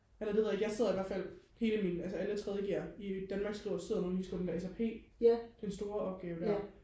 eller det ved jeg ikke jeg sidder ihvertfald hele min altså alle tredje G'er i Danmark sidder og skriver den der SRP den store opgave der